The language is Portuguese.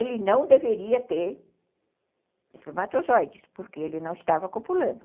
Ele não deveria ter espermatozoides, porque ele não estava copulando.